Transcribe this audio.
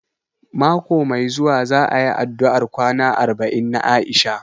Mako mai zuwa za a yi addu'ar kwana arba'in na Aisha